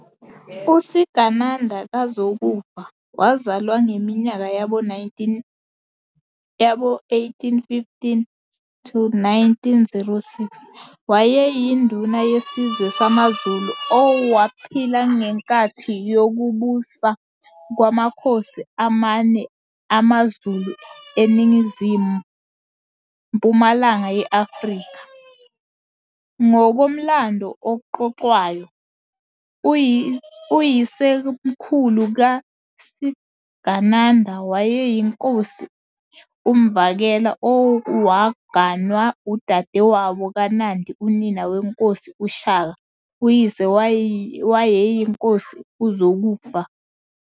USigananda kaZokufa, wazalwangeminyaka yabo 1815-1906, wayeyinduna yesizwe samaZulu owaphila ngenkathi yokubusa kwamakhosi amane amaZulu eningizimu-mpumalanga ye-Afrika. Ngokomlando oxoxwayo, uyisemkhulu kaSigananda wayeyinkosi uMvakela owaganwa udadewabo kaNandi unina weNkosi uShaka, uyise wayeyinkosi uZokufa.